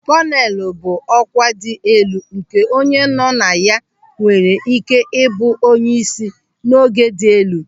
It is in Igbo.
Kọnelu bụ ọkwa dị elu nke onye nọ na ya nwere ị́ké ịbụ onyeisi n'ogo dị elu.